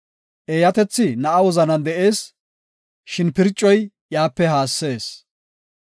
Eeyatethi na7a wozanan de7ees; shin pircoy iyape haassees.